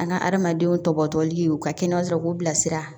An ka adamadenw tɔbɔtɔbɔli u ka kɛnɛya sɔrɔ k'u bilasira